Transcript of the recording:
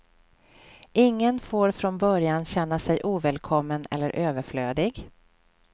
Ingen får från början känna sig ovälkommen eller överflödig.